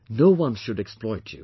No one should exploit you